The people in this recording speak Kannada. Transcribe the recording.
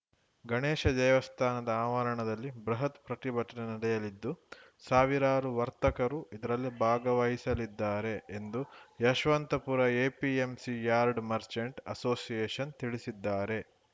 ಗಣೇಶ ದೇವಸ್ಥಾನದ ಆವರಣದಲ್ಲಿ ಬೃಹತ್‌ ಪ್ರತಿಭಟನೆ ನಡೆಯಲಿದ್ದು ಸಾವಿರಾರು ವರ್ತಕರು ಇದರಲ್ಲಿ ಭಾಗಹಿಸಲಿದ್ದಾರೆ ಎಂದು Yeshwantpur APMC yard merchant association ತಿಳಿಸಿದ್ದಾರೆ